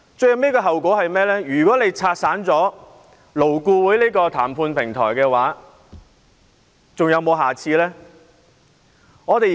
如果反對派議員拆散了勞顧會這個談判平台，還會有下一個平台嗎？